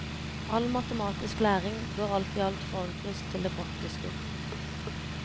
All matematisk læring bør alt i alt forankres til det praktiske.